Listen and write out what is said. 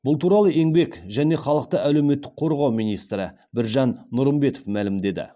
бұл туралы еңбек және халықты әлеуметтік қорғау министрі біржан нұрымбетов мәлімдеді